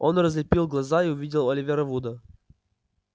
он разлепил глаза и увидел оливера вуда